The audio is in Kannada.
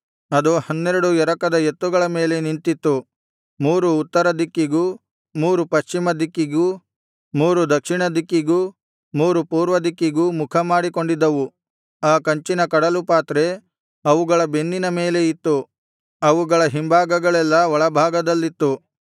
ಅದು ಹನ್ನೆರಡು ಎರಕದ ಎತ್ತುಗಳ ಮೇಲೆ ನಿಂತಿತ್ತು ಮೂರು ಉತ್ತರ ದಿಕ್ಕಿಗೂ ಮೂರು ಪಶ್ಚಿಮ ದಿಕ್ಕಿಗೂ ಮೂರು ದಕ್ಷಿಣ ದಿಕ್ಕಿಗೂ ಮೂರು ಪೂರ್ವ ದಿಕ್ಕಿಗೂ ಮುಖ ಮಾಡಿಕೊಂಡಿದ್ದವು ಆ ಕಂಚಿನ ಕಡಲು ಪಾತ್ರೆ ಅವುಗಳ ಬೆನ್ನಿನ ಮೇಲೆ ಇತ್ತು ಅವುಗಳ ಹಿಂಭಾಗಗಳೆಲ್ಲಾ ಒಳಭಾಗದಲ್ಲಿತ್ತು